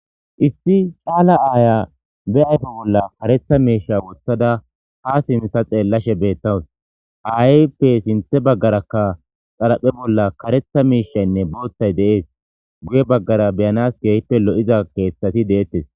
Issi caala aaya be ayto bolla karetha miisha wothada ha simisa xeellashe beettawus aayppe sinthe baggarakka xalaphe bolla karetha miishaynne booththay de7ees guye baggara beyanas geehippe lo7iza keeththati deettes